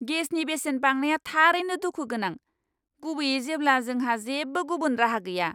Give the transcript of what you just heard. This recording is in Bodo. गेसनि बेसेन बांनाया थारैनो दुखु गोनां, गुबैयै जेब्ला जोंहा जेबो गुबुन राहा गैया!